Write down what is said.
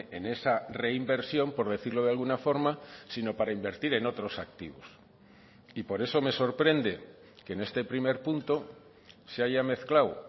en esa reinversión por decirlo de alguna forma sino para invertir en otros activos y por eso me sorprende que en este primer punto se haya mezclado